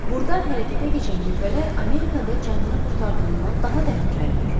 Burda hərəkətə keçən qüvvələr Amerikada canını qurtardığından daha təhlükəlidir.